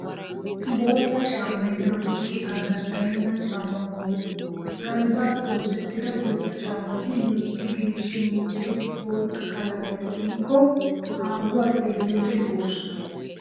Bootta caammay daroto qitaa danddayenna caammaa qommo. Galbbaappe oosettida bootta caammati loytti geeshshi meeccidi bootta qalamiyaa tiyikko haahuwan xeelliyoode lo"oosona.